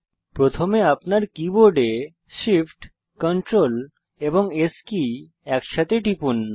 প্রথমে আপনার কীবোর্ডে Shift Ctrl এবং S কী একসাথে টিপুন